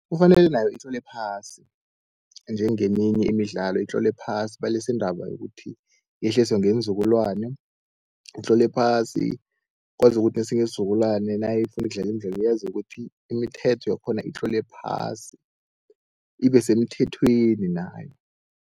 Kufanele nayo itlolwe phasi njengeminye imidlalo, itlolwe phasi balise indaba yokuthi yehliswe ngeenzukulwana. Itlolwe phasi kwazi ukuthi nesinye isizukulwana nayifuna ukudlala imidlalo, yazi ukuthi imithetho yakhona itlolwe phasi ibe semthethweni nayo.